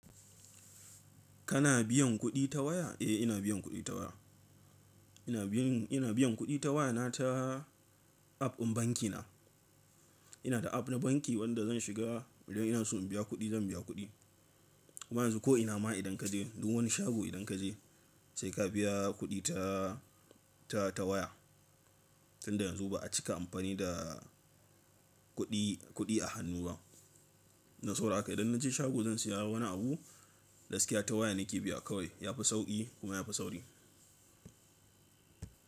Kana biyan kuɗi ta waya? Eh ina biyan kuɗi ta waya. Ina biyan, ina biyan kuɗi ta waya ta app ɗin banki na. Ina da app na banki wanda zan shiga idan ina so in biya kuɗi zan biya kuɗi. Amma yanzu ko ina ma idan kaje duk wani shago idan kaje sai ka biya kuɗi ta, ta, ta waya. Tunda yanzu ba'a cika amfani da kuɗi, kuɗi a hannu ba. Na saboda haka idan naje shago zan saya wani abu, gaskiya ta waya nake biya kawai. Yafi sauƙi kuma yafi sauri.